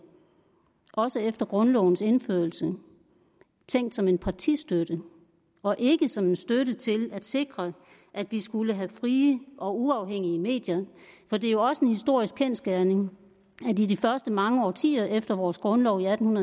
også efter grundlovens indførelse tænkt som en partistøtte og ikke som en støtte til at sikre at vi skulle have frie og uafhængige medier for det er jo også en historisk kendsgerning at i de første mange årtier efter vores grundlov i atten